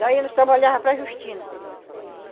Daí nós trabalhava para a Justina.